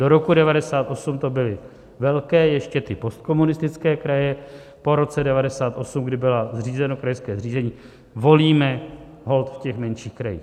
Do roku 1998 to byly velké, ještě ty postkomunistické kraje, po roce 1998, kdy bylo zřízeno krajské zřízení, volíme holt v těch menších krajích.